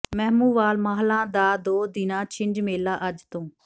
ਮਹਿੰਮੂਵਾਲ ਮਾਹਲਾਂ ਦਾ ਦੋ ਦਿਨਾਂ ਛਿੰਝ ਮੇਲਾ ਅੱਜ ਤੋਂ